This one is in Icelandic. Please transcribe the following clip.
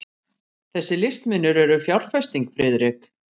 Þessir listmunir eru fjárfesting, Friðrik.